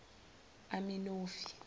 aminofi